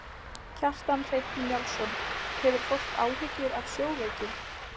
Kjartan Hreinn Njálsson: Hefur fólk áhyggjur af sjóveiki?